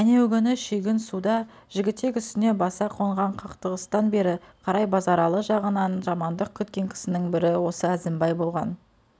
әнеугүні шүйгін суда жігітек үстіне баса қонған қақтығыстан бері қарай базаралы жағынан жамандық күткен кісінің бірі осы әзімбай балған